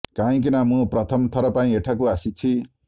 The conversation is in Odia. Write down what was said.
କାହିଁକି ନା ମୁଁ ପ୍ରଥମ ଥର ପାଇଁ ଏଠାକୁ ଆସିଛି